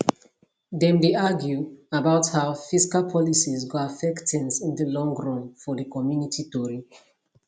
dem dey argue about how fiscal policies go affect things in di long run for di community tori